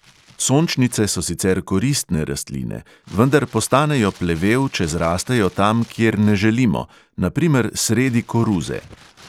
Sončnice so sicer koristne rastline, vendar postanejo plevel, če zrastejo tam, kjer ne želimo, na primer sredi koruze.